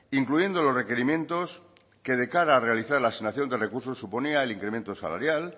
incluyendo los requerimientos que de cara a realizar la asignación de recursos suponía el incremento salarial